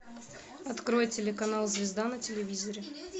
открой телеканал звезда на телевизоре